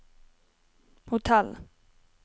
hotell